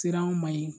Siraw ma ye